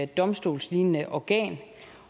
domstolslignende organ